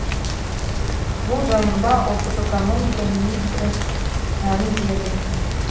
бұл жайында ұлттық экономика министрі мәлімдеді